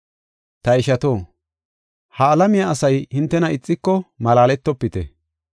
Ta ishato, ha alamiya asay hintena ixiko malaaletofite.